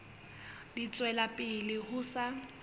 di tswela pele ho sa